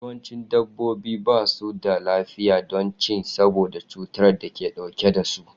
Yawancin dabbobi ba su da lafiya don ci saboda cutar da suke dauke da su.